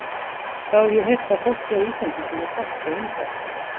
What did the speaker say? Þá hef ég heyrt að fólkið á Íslandi sé mjög gott og indælt.